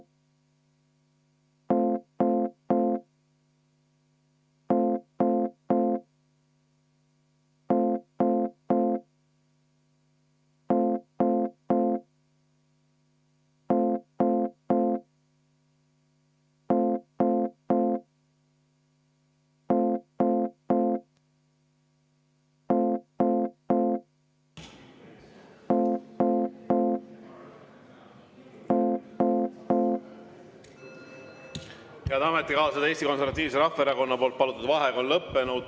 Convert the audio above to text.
Head ametikaaslased, Eesti Konservatiivse Rahvaerakonna palutud vaheaeg on lõppenud.